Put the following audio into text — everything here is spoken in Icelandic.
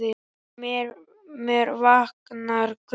Og með mér vaknar grunur.